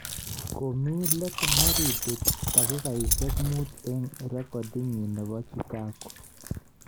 Komii let laribu dakigaisyek muut eng rekidinyi nebo Chikago